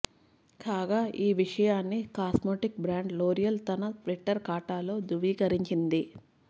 కాగా ఈ విషయాన్ని కాస్మోటిక్ బ్రాండ్ లోరియల్ తన ట్విట్టర్ ఖాతాలో ధృవీకరించింది